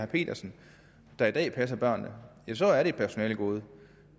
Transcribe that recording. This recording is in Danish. petersen der i dag passer børnene så er det et personalegode